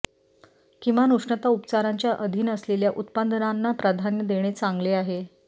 किमान उष्णता उपचारांच्या अधीन असलेल्या उत्पादनांना प्राधान्य देणे चांगले आहे